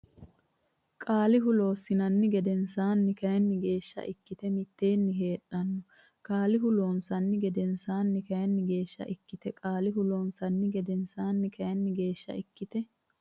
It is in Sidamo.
Qalihu Lossinanni gedensaanni kayinni geeshsha ikkite mitteenni heedhanno Qalihu Lossinanni gedensaanni kayinni geeshsha ikkite Qalihu Lossinanni gedensaanni kayinni geeshsha ikkite.